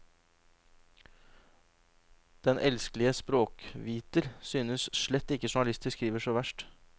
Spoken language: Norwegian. Den elskelige språkviter synes slett ikke journalister skriver så verst.